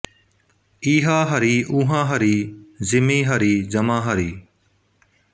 ਈਹਾ ਹਰੀ ਊਹਾਂ ਹਰੀ ਜ਼ਿਮੀ ਹਰੀ ਜਮਾਂ ਹਰੀ